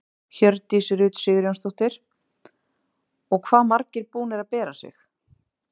Hjördís Rut Sigurjónsdóttir: Og hvað margir búnir að bera sig?